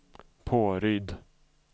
Påryd